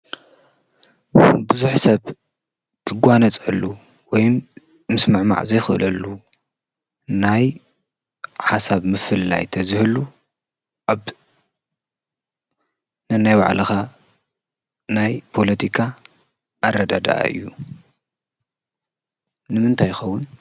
ብዙኅ ሰብ ግጓነጸሉ ወይም ምስ ምዕማዕ ዘይኽእለሉ ናይ ሓሳብ ምፍልላይ ተዝህሉ ኣብ ነናይ ባዕለኻ ናይ ጶሎቲካ ኣረደደኣእዩ ንምንታይኸዉን::